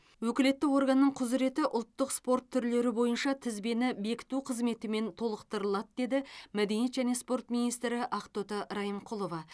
өкілетті органның құзыреті ұлттық спорт түрлері бойынша тізбені бекіту қызметімен толықтырылады деді мәдениет және спорт министрі ақтоты райымқұлова